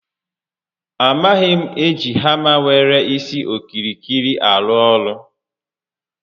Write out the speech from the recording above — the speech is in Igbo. A maghị m eji hama nwere isi okirikiri arụ ọrụ